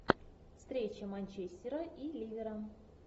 встреча манчестера и ливера